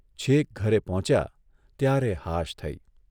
છેક ઘરે પહોંચ્યા ત્યારે હાશ થઇ.